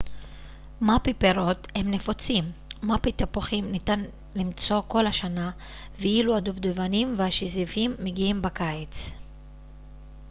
מאפי פירות הם נפוצים מאפי תפוחים ניתן למצוא כל השנה ואילו הדובדבנים והשזיפים מגיעים בקיץ